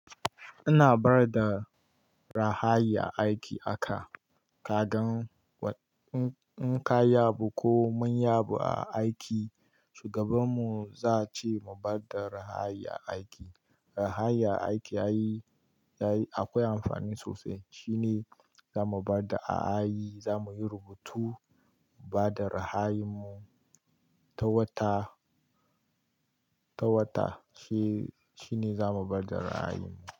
Ina bada rahaayi aiki aka kagan in ka yabu ko mun yabu a aiki shugaban mu zace mu bada rahaayi a aiki. Rahaayi a aiki akwai amfani sosai shine zamu bada aayi zamuyi rubutu bada rahaayi mu ta wata, ta wata shine zamu bada rahaayi mu.